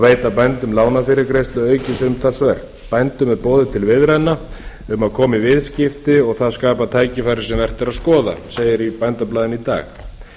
veita bændum lánafyrirgreiðslu aukist umtalsvert bændum er boðið til viðræðna um að koma í viðskipti og það skapar tækifæri sem vert er að skoða segir í bændablaðinu í dag